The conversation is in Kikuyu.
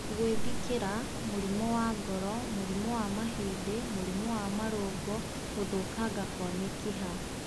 Gwĩthikĩra, mũrimũ wa ngoro, mũrimũ wa mahĩndĩ , mũrimũ wa marũngo, gũthũkanga kwa mĩkiha